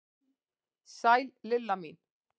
Sæl Lilla mín!